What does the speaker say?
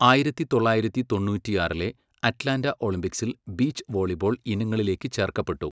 ആയിരത്തി തൊള്ളായിരത്തി തൊണ്ണൂറ്റിയാറിലെ അറ്റ്ലാന്റ ഒളിമ്പിക്സിൽ ബീച്ച് വോളിബോൾ ഇനങ്ങളിലേക്ക് ചേർക്കപ്പെട്ടു.